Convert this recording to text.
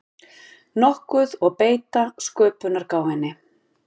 nokkuð og beita sköpunargáfunni.